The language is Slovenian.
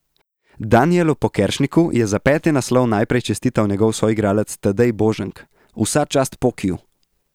Danijelu Pokeršniku je za peti naslov najprej čestital njegov soigralec Tadej Boženk: "Vsa čast Pokiju.